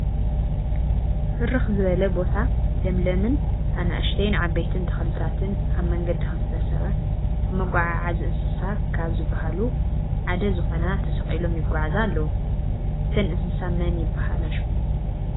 ብርክ ዝበለ ቦታ ለምለምነ ኣናእሽተይን ዓበይትን ተክልታትን ኣብ መንገዲ ክልተ ሰባት ኣብ መጓዓዕዚ እንስሳ ካብ ዝብሃሉ ሓደ ዝኮና ተሰቂሎም ይጉዓዛ ኣለው። እተን እንስሳ መን መን ይብሃላ ሹመን?